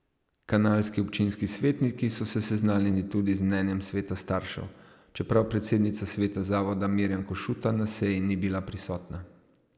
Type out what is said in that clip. Kanalski občinski svetniki so se seznanili tudi z mnenjem sveta staršev, čeprav predsednica sveta zavoda Mirjam Košuta na seji ni bila prisotna.